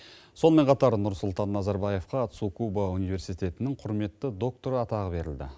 сонымен қатар нұрсұлтан назарбаевқа цукуба университетінің құрметті докторы атағы берілді